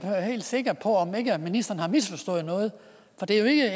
sikker på at ministeren ikke har misforstået noget for det er jo ikke